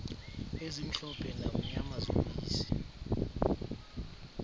ezimhlophe namnyama zobisi